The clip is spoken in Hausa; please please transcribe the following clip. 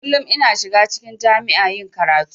Kullun ina shiga cikin jami'a yin karatu.